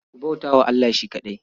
Ku bauta wa Allah shi kaɗai.